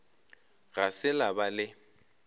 ga se la ba le